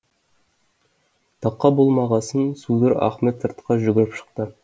тақа болмағасын судыр ахмет сыртқа жүгіріп шықты